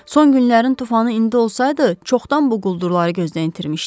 Son günlərin tufanı indi olsaydı, çoxdan bu quldurları gözdən itirmişdik.